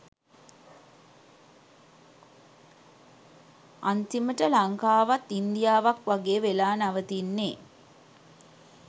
අන්තිමට ලංකාවත් ඉන්දියාවක් වගේ වෙලා නවතින්නේ